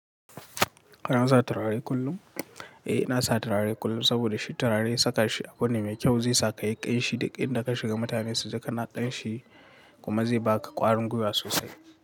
Kana sa turare kullum? Eh, ina sa turare kullum saboda shi turare saka shi abu ne mai kyau, zai sa ka yi ƙanshi, duk in da ka shiga mutane su ji ka na ƙanshi, kuma zai baka ƙwarin gwiwa sosai.